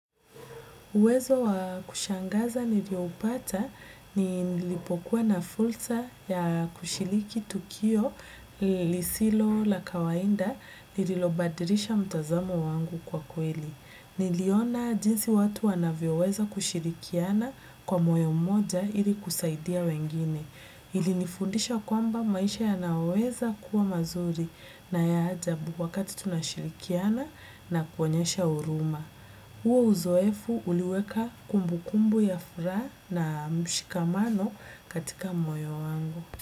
Uwezo wa kushangaza niliopata nilipokuwa na fursa ya kushiriki tukio lisilo la kawaida ni lililobadilisha mtazamo wangu kwa kweli. Niliona jinsi watu wanavyoweza kushirikiana kwa moyo mmoja ili kusaidia wengine. Ilinifundisha kwamba maisha yanaweza kuwa mazuri na ya ajabu wakati tunashirikiana na kuonyesha huruma. Huo uzoefu uliweka kumbukumbu ya furaha na mshikamano katika moyo wangu.